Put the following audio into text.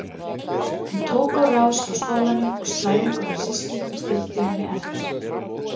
Hún tók á rás frá skólanum og slæðingur af systkinum fylgdi henni eftir.